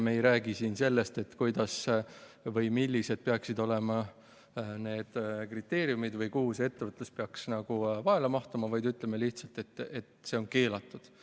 Me ei räägi siin sellest, millised peaksid olema kriteeriumid või mis raamesse see ettevõtlus peaks mahtuma, vaid ütleme lihtsalt: see on keelatud.